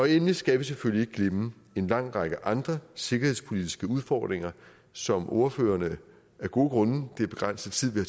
endelig skal vi selvfølgelig ikke glemme en lang række andre sikkerhedspolitiske udfordringer som ordførerne af gode grunde det er begrænset tid vi